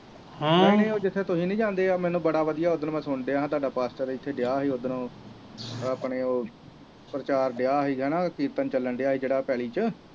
ਨਹੀਂ ਨਹੀਂ ਜਿਥੇ ਤੁਸੀਂ ਨੀ ਜਾਂਦੇ ਮੈਨੂੰ ਬੜਾ ਵਧਿਆ ਉੱਧਰ ਮੈਂ ਸੁਣਨ ਡੇਆ ਤਾਡਾ ਇਥੇ ਡੇਆ ਸੀ ਉਧਰੋਂ ਆਪਣੇ ਉਹ ਪ੍ਰਚਾਰ ਡੇਆ ਸੀਗਾ ਨਾ ਕੀਰਤਨ ਚੱਲਣ ਡੇਆ ਸੀ ਪੈਲੀ ਚ